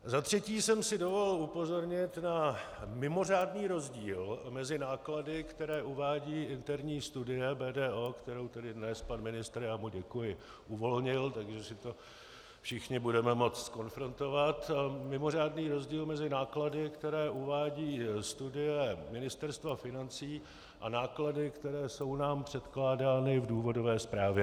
Za třetí jsem si dovolil upozornit na mimořádný rozdíl mezi náklady, které uvádí interní studie BDO, kterou tedy dnes pan ministr - já mu děkuji - uvolnil, takže si to všichni budeme moci zkonfrontovat, mimořádný rozdíl mezi náklady, které uvádí studie Ministerstva financí, a náklady, které jsou nám předkládány v důvodové zprávě.